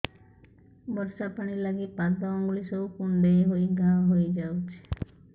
ବର୍ଷା ପାଣି ଲାଗି ପାଦ ଅଙ୍ଗୁଳି ସବୁ କୁଣ୍ଡେଇ ହେଇ ଘା ହୋଇଯାଉଛି